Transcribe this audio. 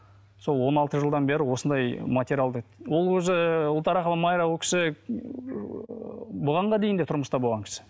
сол он алты жылдан бері осындай материалды ол өзі ұлтарақова майра ол кісі ы бұғанға дейін де тұрмыста болған кісі